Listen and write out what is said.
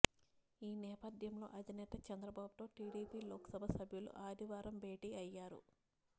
ఈ నేపథ్యంలో అధినేత చంద్రబాబుతో టీడీపీ లోక్సభ సభ్యులు ఆదివారం భేటీ అయ్యారు